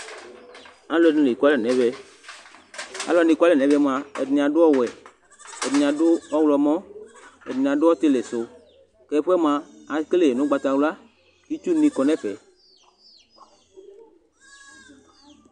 alʊɛɗɩnɩ eƙʊalɛ nʊ ɛʋɛ alʊwʊanɩ eƙʊalɛ mʊa ɛɗɩnɩ aɗʊ awʊ ɛɗɩnɩaɗʊ ɔwlɔmɔ ɛɗɩnɩaɗʊ ɔtɩlɩsʊ eƙele ɛfʊɛ nʊ ʊgɓatawlʊa ɩtsʊnɩbɩ aƙɔnʊ ɛfʊɛ